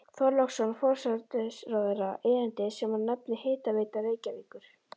Þorláksson forsætisráðherra erindi sem hann nefndi Hitaveita Reykjavíkur.